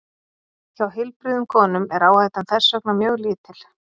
Hjá heilbrigðum konum er áhættan þess vegna mjög lítil.